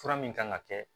Fura min kan ka kɛ